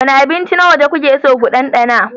Wane abinci na waje kuke so ku ɗanɗana?